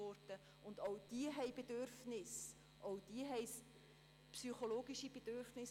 Auch Konfessionslose haben Bedürfnisse, auch diese haben psychologische Bedürfnisse.